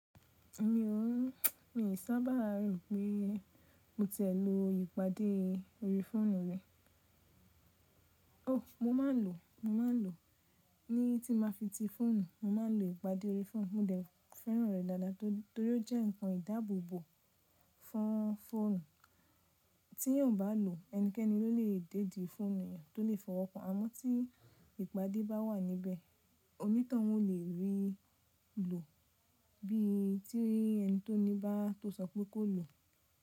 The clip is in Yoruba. Mi ò, mi sábà rò pé mo tìẹ lo ìpadé orí fóònù rẹ. Ó, mo máa ń lò, mo máa ń lò ní tí máa fi ti fóònù, mo máa ń lò ìpadé orí fóònù. Mo dẹ̀ fẹ́ràn rẹ̀ dáadáa torí ó jẹ́ nǹkan ìdábòbò fún fóònù. Tí èyàn ò bá lò, ẹnikẹ́ni ló lè dédìí fóònù èyàn, tó lè fọwọ́ kan. Àmọ́ tí ìpadé bá wà níbẹ̀, oní tọun o lè rí lò bí i tí rí ẹni tó ní bá tó sọ pé kó lò.